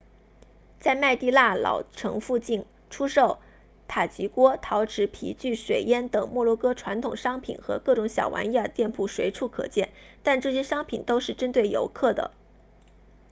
在麦地那老城附近出售塔吉锅陶器皮具水烟等摩洛哥传统商品和各种小玩意儿的店铺随处可见但这些商店都是针对游客的